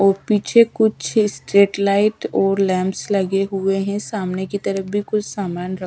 और पीछे कुछ स्ट्रीट लाइट और लैंप्स लगे हुए हैं सामने की तरफ भी कुछ सामान--